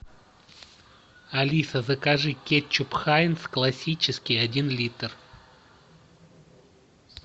алиса закажи кетчуп хайнц классический один литр